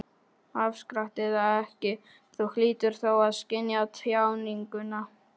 Afstrakt eða ekki, Þú hlýtur þó að skynja tjáninguna.